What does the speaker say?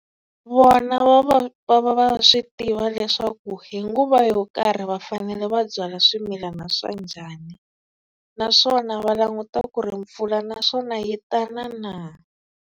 Vona va va va va va swi tiva leswaku hi nguva yo karhi va fanele va byala swimilana swa njhani, naswona va languta ku ri mpfula naswona yi ta na na.